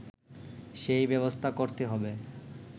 সেই ব্যবস্থা করতে হবে